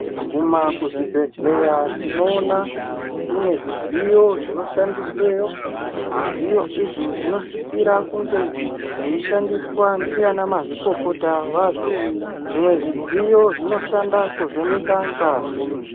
Ukaguma kuzvibhedhleya , tinowona kunezvidziyo zvinoshandisweyo. Zvidziyo izvi zvinosisira kunge veyishandiswa ndi anamazvikokota vazo. Zwimwe zvidziyo zvinoshanda kuvheneka ngazi.